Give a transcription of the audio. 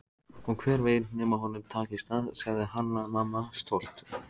Og hver veit nema honum takist það, sagði Hanna-Mamma stolt.